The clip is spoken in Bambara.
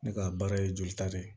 Ne ka baara ye jolita de ye